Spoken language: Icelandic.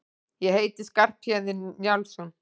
Ég heiti Skarphéðinn Njálsson!